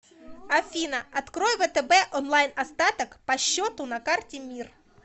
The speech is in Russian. афина открой втб онлайн остаток по счету на карте мир